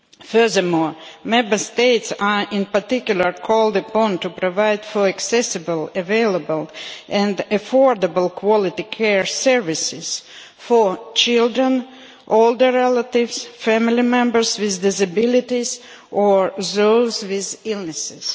Furthermore, Member States are in particular called upon to provide for accessible, available and affordable, high quality care services for children, older relatives, family members with disabilities or those with illnesses.